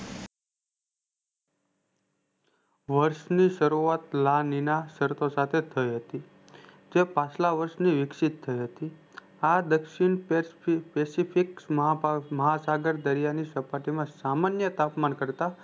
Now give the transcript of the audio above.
વર્ષ ની શરૂઆત લાલીલા શરતો સાથે થઈ હતી તે પાછલા વર્ષ વિક્ષિત થઈ હતી આ દ્ક્ષિણ પેક થી pacific ocean મહાસાગર દરિયાની સપાટીમાં સામાન્ય તાપમાન કરતા